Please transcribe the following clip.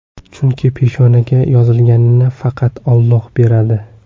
Chunki peshonaga yozilganini faqat Alloh beradi.